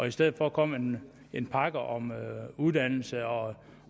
i stedet for at komme med en pakke om uddannelse og